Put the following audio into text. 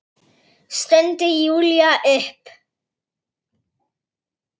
stundi Júlía upp.